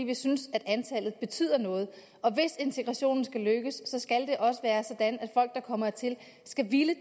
vi synes at antallet betyder noget hvis integrationen skal lykkes skal det også være sådan at folk der kommer hertil skal ville